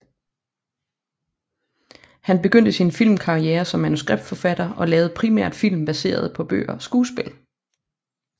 Han begyndte sin filmkarriere som manuskriptforfatter og lavede primært film baseret på bøger og skuespil